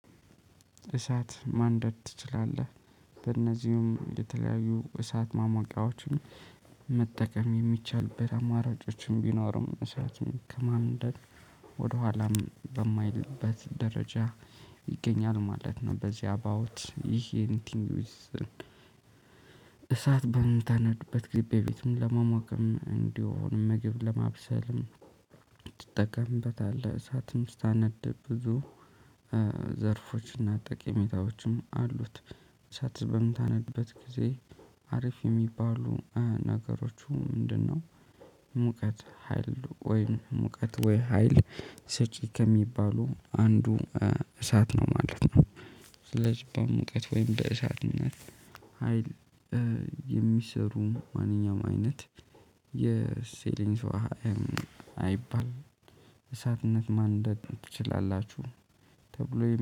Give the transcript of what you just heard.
እሳት ማንደድ ትችላለህ? በእነዚህም የተለያዩ እሳት ማሞቂያዎችን መጠቀም የሚቻል አማራጮችም ቢኖሩም እሳትም ከማንደድ ወደኋላም በማይልበት ደረጃ ይገኛል ማለት ነው። በዚህ አባውት ይሄ ኢንቲንግ ዊዝን። እሳት በምታነድበት ግዜ ቤቱን ለመሞቅም እንዲሁም ምግብ ለማብሰልም ትጠቀምበታለህ። እሳትም ስታነድ ብዙ ዘርፎችና ጠቀሜታዎችም አሉት። እሳት በምታነድበት ጊዜ አሪፍ የሚባሉ ነገሮቹ ምንድነው? ሙቀት ሀይል ወይ ሙቀት ወይ ሀይል ሰጪ ከሚባሉ አንዱ እሳት ነው ማለት ነው። ስለዚህ በሙቀት ወይም በእሳትነት ሀይል። የሚሰሩ ማንኛውም አይነት የሴሊንስ አይባል እሳትን ማንደድ ትችላላችሁ። ተብሎ